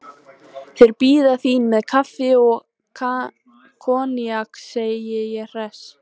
Þeir bíða þín með kaffi og koníak, segi ég hress.